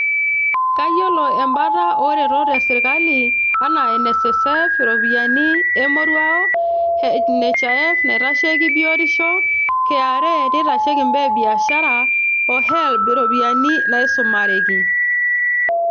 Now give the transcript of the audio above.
Kayiolo embata ooretot e sirkali anaa :NSSF (iropiyiani emoruaoo),NHIF naitasheiki biotisho, KRA neitasheiki imbaa e biashara O HELB iropiyiani naisumareki.